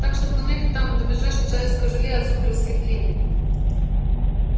так что туннель там до ближайшего человеческого жилья от сухаревской длинный